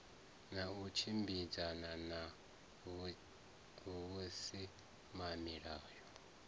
na u tshimbidzana na vhusimamilayo